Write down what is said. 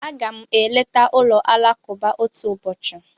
Aga m eleta ụlọ alakụba otu ụbọchị.